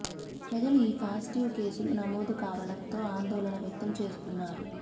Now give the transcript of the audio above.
ప్రజలు ఈ పాజిటివ్ కేసులు నమోదు కావడం తో ఆందోళన వ్యక్తం చేస్తున్నారు